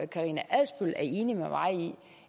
karina adsbøl